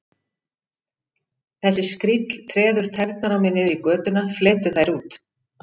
Þessi skríll treður tærnar á mér niður í götuna, fletur þær út.